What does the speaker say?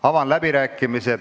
Sulgen läbirääkimised.